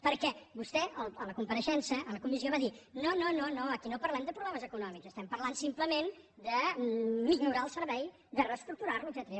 perquè vostè a la compareixença a la comissió va dir no no aquí no parlem de problemes econòmics parlem simplement de millorar el servei de reestructurar lo etcètera